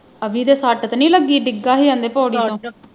ਅਵੀ ਦੇ ਸਟ ਤੇ ਨੀ ਲੱਗੀ ਡਿੱਗਾ ਹੈ ਆਂਦੇ ਪੌੜੀਆਂ ਤੋਂ